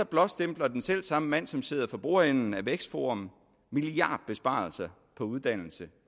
blåstempler den selv samme mand som sidder for bordenden af vækstforum milliardbesparelser på uddannelse